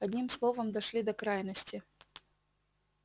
одним словом дошли до крайности